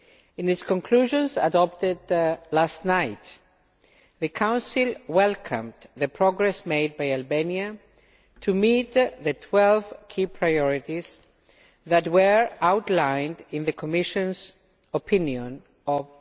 In its conclusions adopted last night, the Council welcomed the progress made by Albania to meet the 12 key priorities that were outlined in the Commission's opinion of